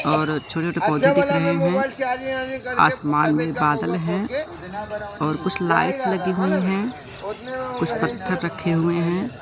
और छोटे-छोटे पौधे दिख रहें हैं। आसमान में बादल हैं और कुछ लाइट लगी हुई हैं कुछ पत्थर रखें हुए हैं।